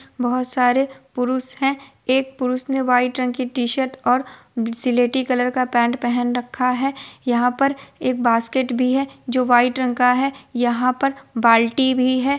बहुत सारे पुरुष हैं| एक पुरुष ने व्हाइट रंग की टी-शर्ट और स्लेटी कलर का पेंट पहन रखा है| यहाँ पर एक बास्केट भी है जो वाइट रंग का है| यहाँ पर बाल्टी भी है।